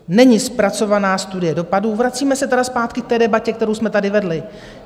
Není zpracovaná studie dopadů, vracíme se tedy zpátky k té debatě, kterou jsme tady vedli.